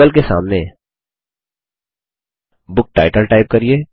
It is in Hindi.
लाबेल के सामने बुक टाइटल टाइप करिये